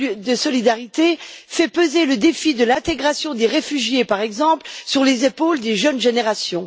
de solidarité fait peser le défi de l'intégration des réfugiés, par exemple, sur les épaules des jeunes générations.